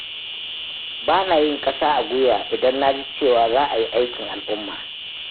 Ba na yin ƙasa a guiwa idan na ji cewa za a yi aikin al'umma.